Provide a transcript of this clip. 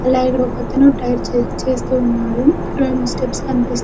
అలాగే ఇక్కడ ఒకతను టైర్ చెక్ చేస్తూ ఉన్నాడు ఇక్కడ స్టెప్స్ కనిపిస్తు --